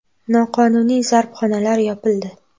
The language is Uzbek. Noqonuniy zarbxonalar yopildi.